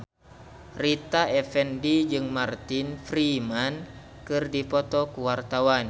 Rita Effendy jeung Martin Freeman keur dipoto ku wartawan